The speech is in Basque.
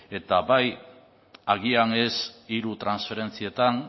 eta bai agian ez hiru transferentzietan